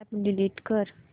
app delete कर